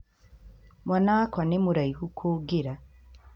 Mwana wakwa nĩ mũraihu kũngĩra